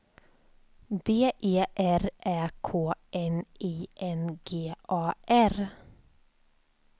B E R Ä K N I N G A R